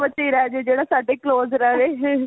ਬੱਚਾ ਹੀ ਰਹਿ ਜੇ ਜਿਹੜਾ ਸਾਡੇ close ਰਵੇ